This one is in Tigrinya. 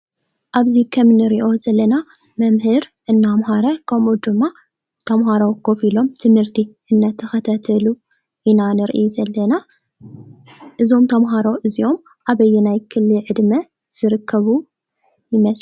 ኣብዚ ከምንሪኦ ዘለና መምህር እንዳምሃረ ከምኡ ድማ ተምሃሮ ኮፍ ኢሎም ትምህርቲ እንዳተከታተሉ ኢና ንርኢ ዘለና:: እዞም ተምሃሮ እዚኦም ኣበየናይ ክሊ ዕድመ ዝርከቡ ይመስለኩም?